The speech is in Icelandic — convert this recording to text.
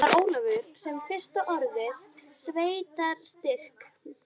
Það var Ólafur sem fyrst orðaði sveitarstyrk.